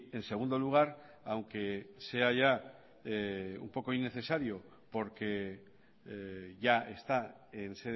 en segundo lugar aunque sea ya un poco innecesario porque ya está en